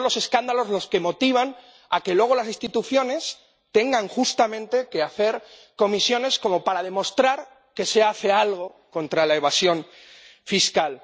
Porque son los escándalos los que motivan que luego las instituciones tengan, justamente, que hacer comisiones como para demostrar que se hace algo contra la evasión fiscal.